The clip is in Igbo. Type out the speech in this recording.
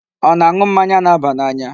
Ọ na-aṅụ mmanya na-aba n'anya?